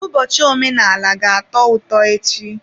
Ụbọchị omenala ga-atọ ụtọ echi.